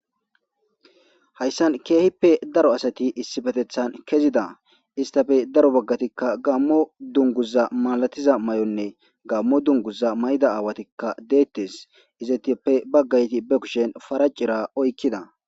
Hayssan keehippe daro asati issibetethan kezida istafe daro baggatikka gammo dunguza malatiza may7onne gammo dunguza mayda aawatikka deettes izatiyoppe baggayti be kushen fara cira oykkida